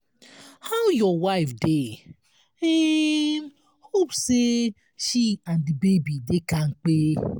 how your wife dey? um hope sey she and di baby dey kampe.